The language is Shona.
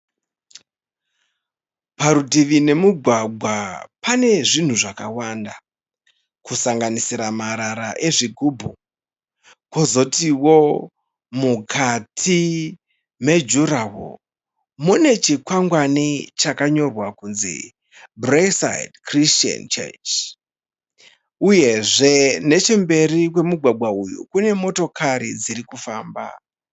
Parutivi nemugwagwa pane zvinhu zvakawanda kusanganisira marara ezvigubhu. Kozotowo, mukati mejurawoo mune chikwangwani chakanyorwa kunzi Braeside Christian Church. Uyezve, nechemberi kwemugwagwa uyu kune motokari dziri kufamba.